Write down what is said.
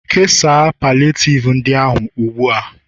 kesaa palliative ndị ahụ ugbu a!